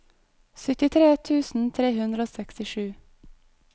syttitre tusen tre hundre og sekstisju